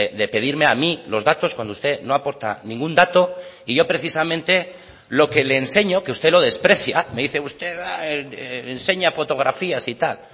de pedirme a mí los datos cuando usted no aporta ningún dato y yo precisamente lo que le enseño que usted lo desprecia me dice usted enseña fotografías y tal